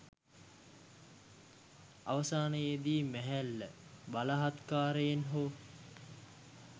අවසානයේදී මැහැල්ල බලහත්කාරයෙන් හෝ